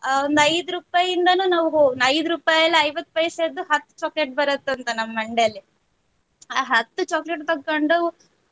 ಅಹ್ ಒಂದು ಐದು ರೂಪಾಯಿಯಿಂದಾನೂ ನಾವು~ ಹೋಗಿ ಐದು ರೂಪಾಯಿ ಅಲ್ಲಿ ಐವತ್ತು ಪೈಸೆದು ಹತ್ತ್ chocolate ಬರುತ್ತೆ ಅಂತ ನಮ್ ಮಂಡೇಲಿ ಆ ಹತ್ chocolate ತಕ್ಕೊಂಡು.